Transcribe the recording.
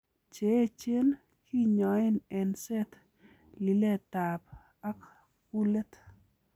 Cheechen kinyoen eng'set, liletab ak kulet.